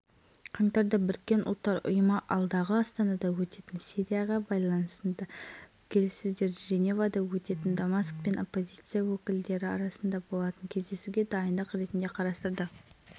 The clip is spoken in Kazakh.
желтоқсанда нұрсұлтан назарбаев пен владимир путин стрельндегі константин сарайында келіссөздер жүргізді кездесуде назарбаев қазақстан сирия мәселесіне